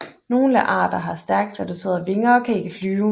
Nogle arter har stærkt reducerede vinger og kan ikke flyve